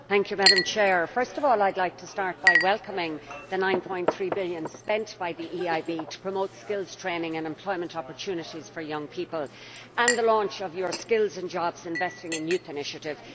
Madam President, first of all I would like to start by welcoming the EUR 9.3 billion spent by the EIB to promote skills training and employment opportunities for young people and the launch of your Skills and Jobs Investing in Youth initiative.